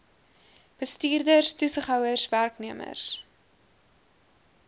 bestuurders toesighouers werknemers